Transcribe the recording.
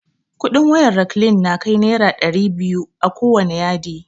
Kudin wayar raklin na kai naira dairi biyu akowane yadi